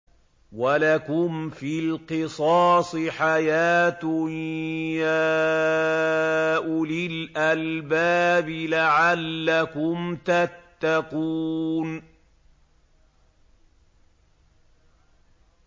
وَلَكُمْ فِي الْقِصَاصِ حَيَاةٌ يَا أُولِي الْأَلْبَابِ لَعَلَّكُمْ تَتَّقُونَ